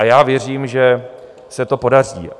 A já věřím, že se to podaří.